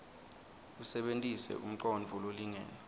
usebentise umcondvo lolingene